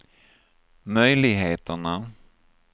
möjligheterna